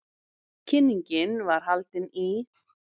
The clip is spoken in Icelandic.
Kynningin var haldin í